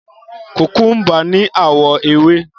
Kòkúḿbà ní àwọ̀ ewé.